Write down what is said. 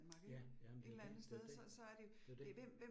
Ja, jamen det jo det, det jo det, det det